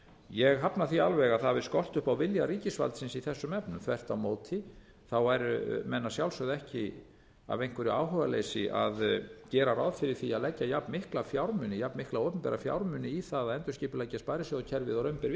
ég hafna því alveg að það hafi skort upp á vilja ríkisvaldsins í þessum efnum þvert á móti væru menn að sjálfsögðu ekki af einhverju áhugaleysi að gera ráð fyrir því að leggja jafn miklu fjármuni jafn mikla opinbera fjármuni í það að endurskipuleggja sparisjóðakerfið og raun ber vitni